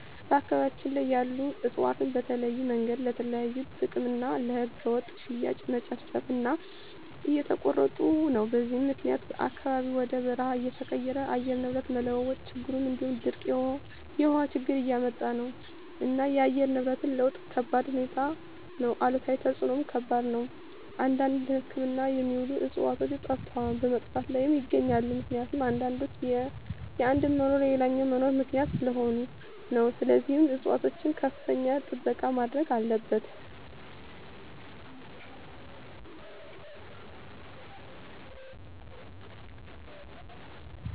በአካባቢያቸን ያሉ እፅዋትን በተለያዮ መንገድ ለተለያዩ ጥቅም እና ለህገወጥ ሽያጭ መጨፍጨፉ እና እየተቆረጡ ነው በዚህም ምክኒያት አካባቢው ወደ በርሃ እየተቀየረ የአየር ንብረት መለዋወጥ ችግር እንዲሁም ድርቅ የውሀ ችግር እያመጣ ነው እና የአየር ንብረት ለውጥ ከባድሁኔታ ነው አሉታዊ ተፅዕኖው ከባድ ነው አንዳንድ ለህክምና የሚውሉ ዕፅዋቶች ጠፈተዋል በመጥፋት ላይም ይገኛሉ ምክኒቱም አንዳንዶች የአንዱ መኖር ለሌላኛው መኖር ምክኒያት ሰለሆኑ ነው ስለዚህም ፅፅዋቶች ከፍተኛ ጥበቃ መደረግ አለበት።